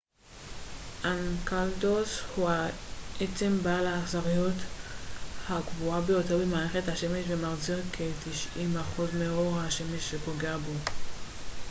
אנקלדוס הוא העצם בעל ההחזריות הגבוהה ביותר במערכת השמש ומחזיר כ-90 אחוז מאור השמש שפוגע בו